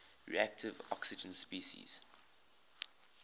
reactive oxygen species